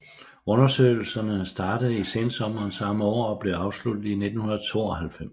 Undersøgelserne startede i sensommeren samme år og blev afsluttet i 1992